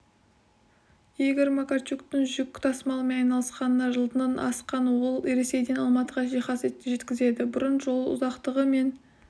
игор макарчуктың жүк тасымалымен айналысқанына жылдан асқан ол ресейден алматыға жиһаз жеткізеді бұрын жол ұзақтығы мен